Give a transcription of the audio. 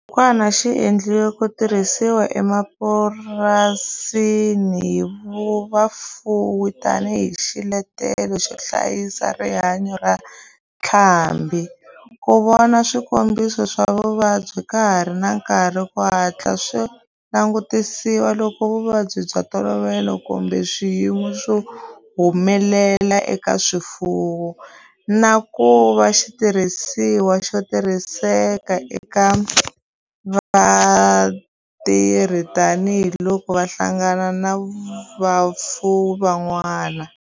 Xibukwana xi endliwe ku tirhisiwa emapurasini hi vafuwi tani hi xiletelo xo hlayisa rihanyo ra ntlhambhi, ku vona swikombiso swa vuvabyi ka ha ri na nkarhi ku hatla swi langutisiwa loko vuvabyi bya ntolovelo kumbe swiyimo swi humelela eka swifuwo, na ku va xitirhisiwa xo tirhiseka eka vatirhi tani hi loko va hlangana na vafuwi van'wana.